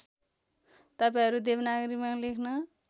तपाईँहरू देवनागरीमा लेख्न